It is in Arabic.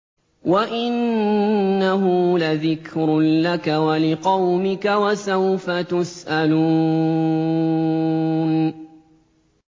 وَإِنَّهُ لَذِكْرٌ لَّكَ وَلِقَوْمِكَ ۖ وَسَوْفَ تُسْأَلُونَ